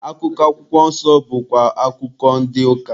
Akụkọ akwụkwọ nsọ bụkwa akụkọ ndị ụka.